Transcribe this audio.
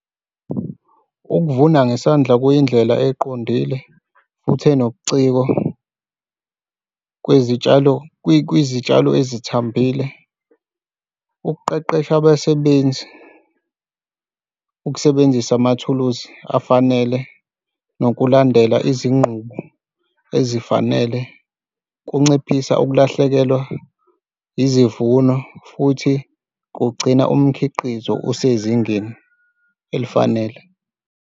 Ukuvuna ngesandla kuyindlela eqondile futhi enobuciko kwezitshalo kwizitshalo ezithambile ukuqeqesha abasebenzi, ukusebenzisa amathuluzi afanele nokulandela izinqubo ezifanele kunciphisa ukulahlekelwa izivuno futhi kugcina umkhiqizo osezingeni elifanele.